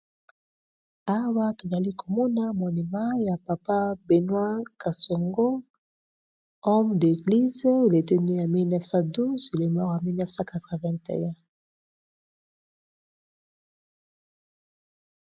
Awa tozali komona monuma ya papa Benoît Kasongo homme d'eglise il était née en mille neuf cent douze1912 il est mort en mille neuf cent quatre vingt un.